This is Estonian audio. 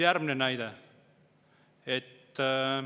Järgmine näide.